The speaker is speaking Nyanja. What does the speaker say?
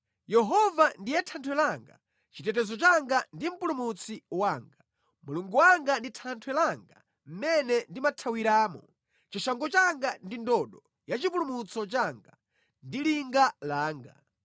Yehova ndiye thanthwe langa, chitetezo changa ndi mpulumutsi wanga; Mulungu wanga ndi thanthwe langa mʼmene ndimathawiramo. Chishango changa ndi ndodo yachipulumutso changa, ndi linga langa.